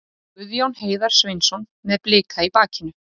Guðjón Heiðar Sveinsson með Blika í bakinu.